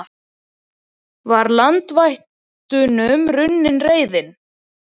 Var landvættunum runnin reiðin?